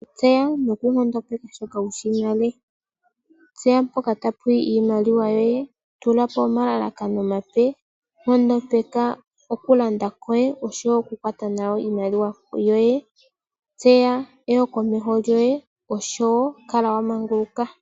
Tseya noku nkondopeka shoka wushi nale. Tseya mpoka tapu yi iimaliwa yoye. Tula po omalalakano omape. Nkondopeka oku landa kwoye . Oshowo oku kwata nawa iimaliwa yoye. Tseya eyo komeho lyoye. Oshowo kala wa manguluka.